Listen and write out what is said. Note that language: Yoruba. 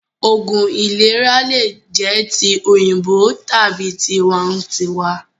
Oògún ìlera lè jẹ ti òyìnbó tàbí tiwa ǹ tiwa